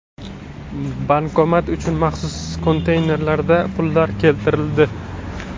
Bankomat uchun maxsus konteynerlarda pullar keltirildi.